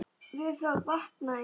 Við það vaknaði ég.